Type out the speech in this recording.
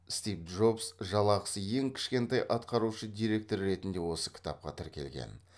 стив джобс жалақысы ең кішкентай атқарушы директор ретінде осы кітапқа тіркелген